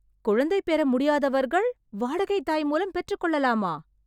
குழந்தை பெற முடியாதவர்கள், வாடகைத் தாய் மூலம் பெற்றுக்கொள்ளலாமா...